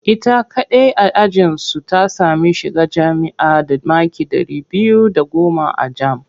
Ita kaɗai a ajinsu ta sami shiga jami'a da maki ɗari biyu da goma a jam